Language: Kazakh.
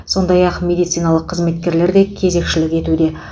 сондай ақ медициналық қызметкерлер де кезекшілік етуде